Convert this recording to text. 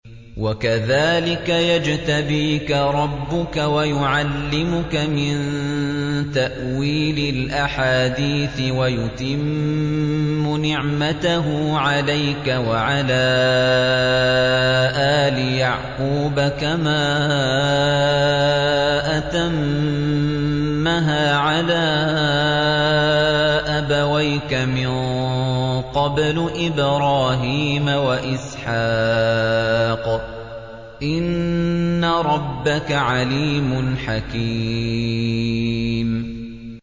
وَكَذَٰلِكَ يَجْتَبِيكَ رَبُّكَ وَيُعَلِّمُكَ مِن تَأْوِيلِ الْأَحَادِيثِ وَيُتِمُّ نِعْمَتَهُ عَلَيْكَ وَعَلَىٰ آلِ يَعْقُوبَ كَمَا أَتَمَّهَا عَلَىٰ أَبَوَيْكَ مِن قَبْلُ إِبْرَاهِيمَ وَإِسْحَاقَ ۚ إِنَّ رَبَّكَ عَلِيمٌ حَكِيمٌ